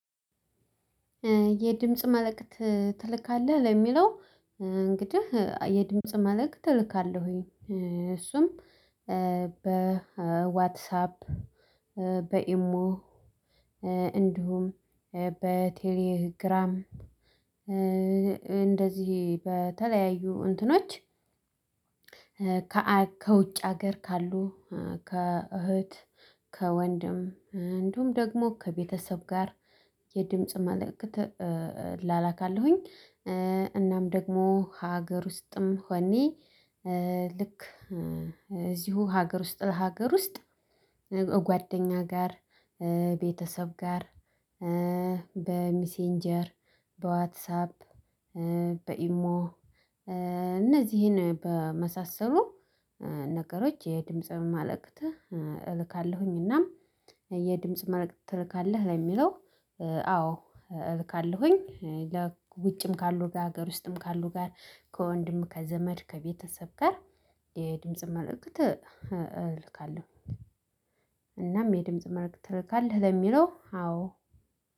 የድምጽ መልእክት ትልካለህ ለሚለው እንግዲህ የድምጽ መልእክት እልካለህ እልካለሁኝ እሱም በዋትሳፕ በኢሞ እንዲሁም በቴሌግራም እንደዚህ በተለያዩ እንትኖች ከውጭ ሀገር ካሉ ከእህት ከወንድም እንዲሁም ደግሞ ከቤተሰብ ጋር የድምጽ መልእክት እለላካለሁኝ። እናም ደግሞ ሀገር ውስጥም ሆኔ ልክ እዚሁ ሀገር ውስጥ ለሀገር ውስጥ ጓደኛ ጋር ቤተሰብ ጋር በሚሴንጀር በዋትሳፕ በኢሞ እነዚህን በመሳሰሉ ነገሮች የድምጽ መመልከት እልካለሁኝ እናም የድምጽ መልክት ትልካለህ ለሚለው አዎ እልካለሁኝ። ውጭም ካሉ ጋር ሀገር ውስጥም ካሉ ጋር ከወንድም ከዘመድ ከቤተሰብ ጋር የድምጽ መርእክት እልካለሁ። እናም የድምጽ መርእክት ትልካለህ ለሚለው አዎ።